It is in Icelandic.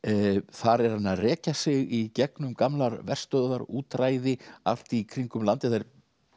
þar er hann að rekja sig í gegnum gamlar verstöðvar útræði allt í kringum landið það er